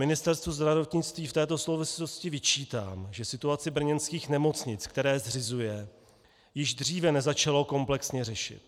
Ministerstvu zdravotnictví v této souvislosti vyčítám, že situaci brněnských nemocnic, které zřizuje, již dříve nezačalo komplexně řešit.